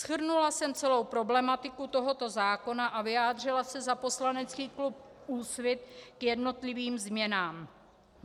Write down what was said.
Shrnula jsem celou problematiku tohoto zákona a vyjádřila se za poslanecký klub Úsvit k jednotlivým změnám.